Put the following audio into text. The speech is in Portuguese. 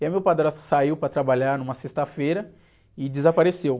E aí meu padrasto saiu para trabalhar numa sexta-feira e desapareceu.